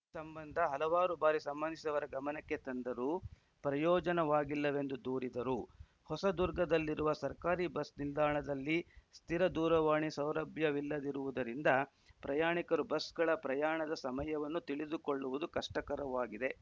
ಈ ಸಂಬಂಧ ಹಲವಾರು ಬಾರಿ ಸಂಬಂಧಿಸಿದವರ ಗಮನಕ್ಕೆ ತಂದರೂ ಪ್ರಯೋಜನವಾಗಿಲ್ಲವೆಂದು ದೂರಿದರು ಹೊಸದುರ್ಗದಲ್ಲಿರುವ ಸರ್ಕಾರಿ ಬಸ್‌ನಿಲ್ದಾಣದಲ್ಲಿ ಸ್ಥಿರ ದೂರವಾಣಿ ಸೌಲಭ್ಯವಿಲ್ಲದಿರುವುದರಿಂದ ಪ್ರಯಾಣಿಕರು ಬಸ್‌ಗಳ ಪ್ರಯಾಣದ ಸಮಯವನ್ನು ತಿಳಿದುಕೊಳ್ಳುವುದು ಕಷ್ಟಕರವಾಗಿದೆ